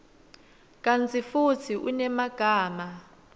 kantsi futsi unemagama